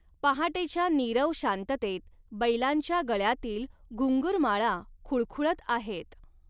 पहाटेच्या नीरव शांततेत बैलांच्या गळ्यातील घुंगूरमाळा खुळखुळत आहेत.